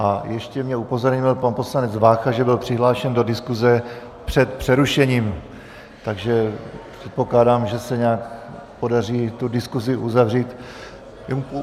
A ještě mě upozornil pan poslanec Vácha, že byl přihlášen do diskuse před přerušením, takže předpokládám, že se nějak podaří tu diskusi uzavřít.